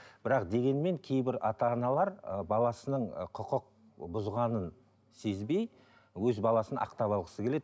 бірақ дегенмен кейбір ата аналар ы баласының ы құқық бұзғанын сезбей өз баласын ақтап алғысы келеді